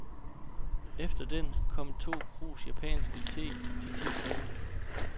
Efter den kom to krus japansk te til ti kroner.